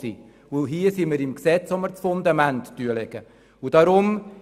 Und hier sind wir am Gesetz, wo das Fundament gelegt wird.